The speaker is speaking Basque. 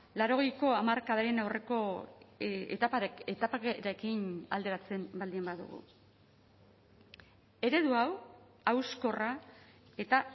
laurogeiko hamarkadaren aurreko etaparekin alderatzen baldin badugu eredu hau hauskorra eta